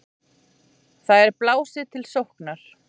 Þar er blásið til sóknar.